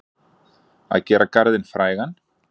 Að gera garðinn frægan